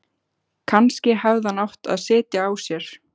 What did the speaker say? Kannski hefði hann átt að sitja á sér.